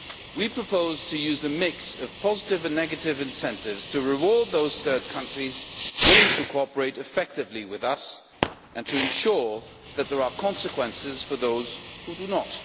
We propose to use a mix of positive and negative incentives to reward those third countries willing to cooperate effectively with us and to ensure that there are consequences for those who do not.